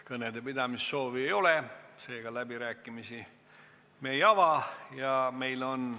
Kõnede pidamise soovi ei ole, seega me läbirääkimisi ei ava.